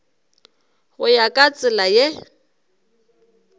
go ya ka tsela ye